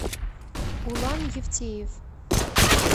улан евтеев